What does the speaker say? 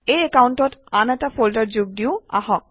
এই একাউণ্টত আন এটা ফল্ডাৰ যোগ দিওঁ আহক